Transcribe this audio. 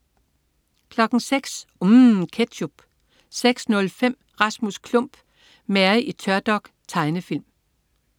06.00 UMM. Ketchup 06.05 Rasmus Klump. Mary i tørdok. Tegnefilm